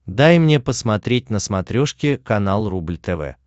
дай мне посмотреть на смотрешке канал рубль тв